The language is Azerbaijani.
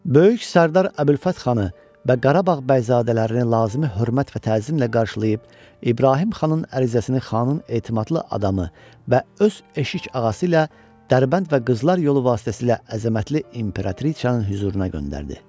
Böyük sərdar Əbülfət xanı və Qarabağ bəyzadələrini lazımi hörmət və təzimlə qarşılayıb İbrahim xanın ərizəsini xanın etimadlı adamı və öz eşik ağası ilə Dərbənd və Qızlar yolu vasitəsilə əzəmətli İmperatrisanın hüzuruna göndərdi.